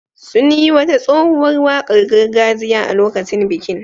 Sun yi wata tsohuwar wakar gargajiya a lokacin bikin.